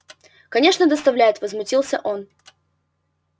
конечно доставляет возмутился он